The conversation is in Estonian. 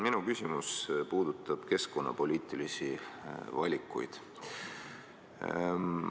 Minu küsimus puudutab keskkonnapoliitilisi valikuid.